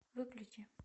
выключи